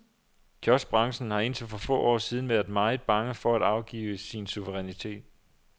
Kioskbranchen har indtil for få år siden været meget bange for at afgive sin suverænitet.